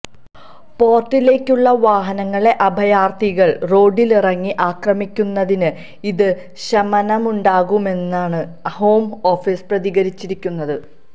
പോർട്ടിലേക്കുള്ള വാഹനങ്ങളെ അഭയാർത്ഥികൾ റോഡിലിറങ്ങി ആക്രമിക്കുന്നതിന് ഇത് ശമനമുണ്ടാക്കുമെന്നാണ് ഹോം ഓഫീസ് പ്രതികരിച്ചിരിക്കുന്നത്